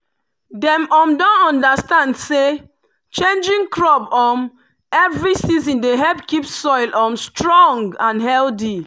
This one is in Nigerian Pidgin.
dem um don understand say changing crop um every season dey help keep soil um strong and healthy.